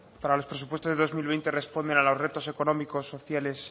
para los presupuestos del dos mil veinte responden a los retos económicos sociales